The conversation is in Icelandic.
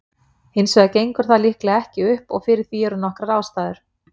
Hins vegar gengur það líklega ekki upp og fyrir því eru nokkrar ástæður.